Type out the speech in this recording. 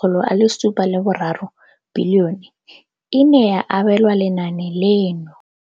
703 bilione e ne ya abelwa lenaane leno.